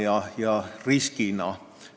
See on risk!